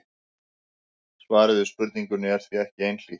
Svarið við spurningunni er því ekki einhlítt.